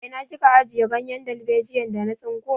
A ina kika ajiye ganyen dalbejiyar da na tsinko?